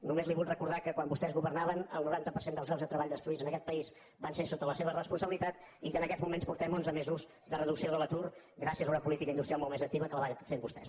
només li vull recordar que quan vostès governaven el noranta per cent dels llocs de treball destruïts en aquest país van ser sota la seva responsabilitat i que en aquests moments portem onze mesos de reducció de l’atur gràcies a una política industrial molt més activa que la que van fer vostès